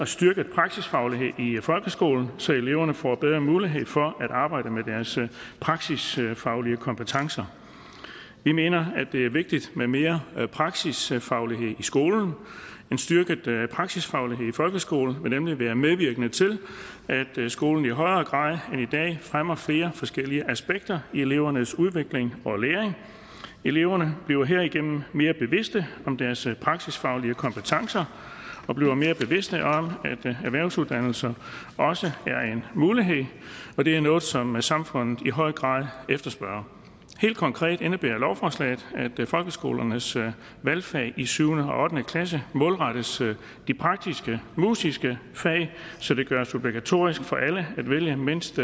styrket praksisfaglighed i folkeskolen så eleverne får bedre mulighed for at arbejde med deres praksisfaglige kompetencer vi mener det er vigtigt med mere praksisfaglighed i skolen for en styrket praksisfaglighed i folkeskolen vil nemlig være medvirkende til at skolen i højere grad end i dag fremmer flere forskellige aspekter af elevernes udvikling og læring eleverne bliver herigennem mere bevidste om deres praksisfaglige kompetencer og bliver mere bevidste om at erhvervsuddannelser også er en mulighed og det er noget som samfundet i høj grad efterspørger helt konkret indebærer lovforslaget at folkeskolernes valgfag i syvende og ottende klasse målrettes de praktisk musiske fag så det gøres obligatorisk for alle at vælge mindst